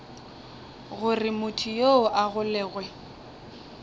gore motho yoo a golegwe